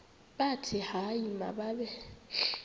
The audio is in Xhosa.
bathi hayi mababe